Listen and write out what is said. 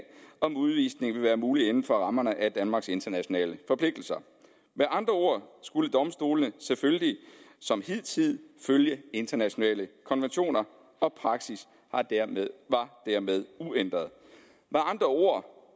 om udvisning ville være mulig inden for rammerne af danmarks internationale forpligtelser med andre ord skulle domstolene selvfølgelig som hidtil følge internationale konventioner og praksis var dermed uændret med andre ord